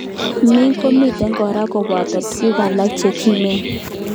MYH komitei kora koboto tukun alak chekimen.